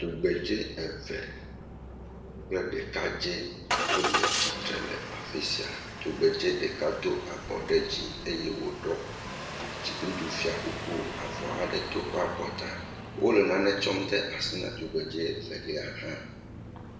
Tsugbedzɛ eve kple ɖekadzɛ wole tsitre le afisia. Tugbe dzɛ ɖeka do abɔ ɖe dzi eye wi ɖɔ dziɖuɖu fiakuku. Avɔ aɖe to eƒe abɔta. Wole nane ɖem asi na tugbe dzɛ evelis hã.